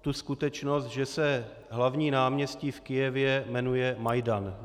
tu skutečnost, že se hlavní náměstí v Kyjevě jmenuje Majdan.